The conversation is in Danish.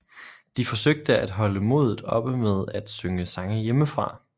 De forsøgte at holde modet oppe med at synge sange hjemmefra